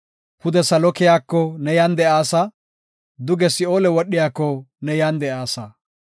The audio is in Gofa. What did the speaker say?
Pude salo keyiko ne yan de7aasa! Duge Si7oole wodhikoka ne yan de7aasa.